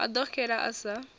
a ḓo xela a sa